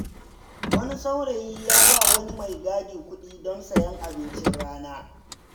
Wani saurayi ya ba wa wani maigadi kuɗi don sayen abincin rana.